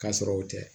K'a sɔrɔ o tɛ